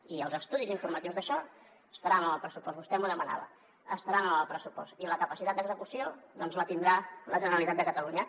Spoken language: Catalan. i els estudis informatius d’això estaran en el pressupost vostè m’ho demanava i la capacitat d’execució doncs la tindrà la generalitat de catalunya